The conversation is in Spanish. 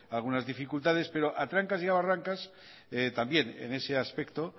algunas dificultades pero a trancas y barrancas también en ese aspecto